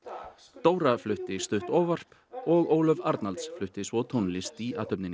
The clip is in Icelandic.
Dóra flutti stutt ávarp og Ólöf Arnalds flutti svo tónlist í athöfninni